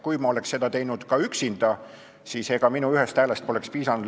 Kui ka mina oleksin seda üksinda teinud, siis ega minu ühest häälest poleks piisanud.